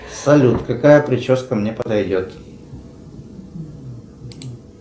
салют какая прическа мне подойдет